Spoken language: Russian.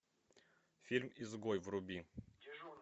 фильм изгой вруби